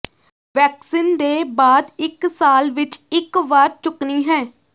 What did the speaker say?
vaccine ਦੇ ਬਾਅਦ ਇੱਕ ਸਾਲ ਵਿੱਚ ਇੱਕ ਵਾਰ ਚੁੱਕਣੀ ਹੈ